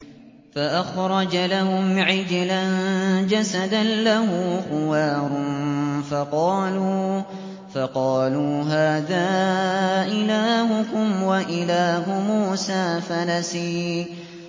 فَأَخْرَجَ لَهُمْ عِجْلًا جَسَدًا لَّهُ خُوَارٌ فَقَالُوا هَٰذَا إِلَٰهُكُمْ وَإِلَٰهُ مُوسَىٰ فَنَسِيَ